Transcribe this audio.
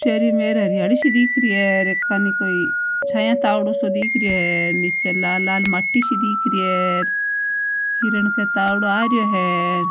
चारोमेर हरियाली सी दिखरि हैं चे छाया तावडो सो दिख रहे है निचे लाल माटी दिख रही है हिरन के तावड़ो आ रहो है।